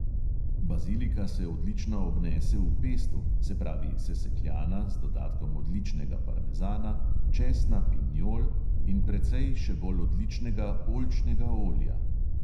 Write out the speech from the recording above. Bazilika se odlično obnese v pestu, se pravi sesekljana, z dodatkom odličnega parmezana, česna, pinjol in precej še bolj odličnega oljčnega olja.